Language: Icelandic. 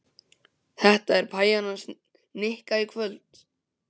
Þetta er pæjan hans Nikka í kvöld.